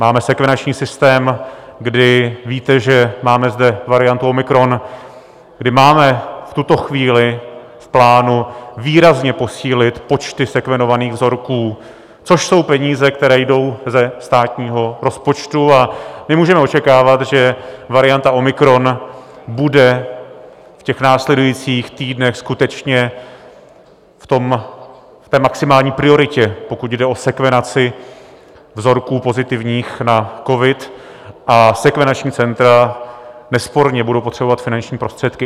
Máme sekvenační systém, kdy víte, že máme zde variantu omikron, kdy máme v tuto chvíli v plánu výrazně posílit počty sekvenovaných vzorků, což jsou peníze, které jdou ze státního rozpočtu, a my můžeme očekávat, že varianta omikron bude v těch následujících týdnech skutečně v té maximální prioritě, pokud jde o sekvenaci vzorků pozitivních na covid, a sekvenační centra nesporně budou potřebovat finanční prostředky.